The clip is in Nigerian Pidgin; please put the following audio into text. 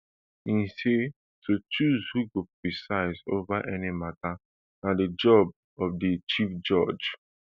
e say to choose who go preside over any matter na di job of di chief judge